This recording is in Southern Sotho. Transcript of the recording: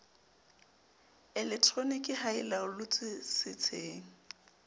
elektroniki ha e laollotswe setsheng